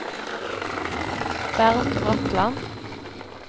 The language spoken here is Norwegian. Bernt Bratland